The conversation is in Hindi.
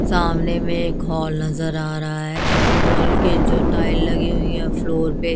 सामने में एक हॉल नजर आ रहा है हॉल के जो टाइल लगी हुई हैं फ्लोर पे--